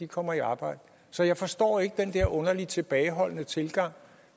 kommer i arbejde så jeg forstår ikke den der underlige tilbageholdende tilgang